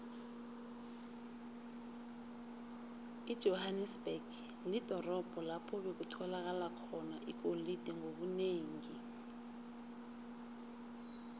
ijohanesberg lidorobho lapho bekutholakala khona igolide ngobunengi